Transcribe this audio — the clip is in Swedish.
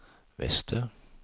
väster